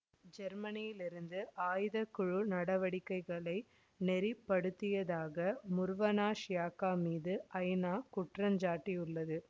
ஜெர்மனியிலிருந்து ஆயுதக்குழு நடவடிக்கைகளை நெறிப்படுத்தியதாக முர்வனாஷ் யாக்கா மீது ஐநா குற்றஞ்சாட்டியுள்ளது